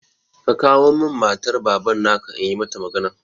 Ka kawo min matar Baban na ka, in yi mata magana!